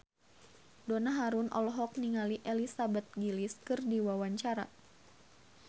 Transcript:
Donna Harun olohok ningali Elizabeth Gillies keur diwawancara